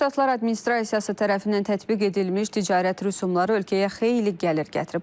Birləşmiş Ştatlar administrasiyası tərəfindən tətbiq edilmiş ticarət rüsumları ölkəyə xeyli gəlir gətirib.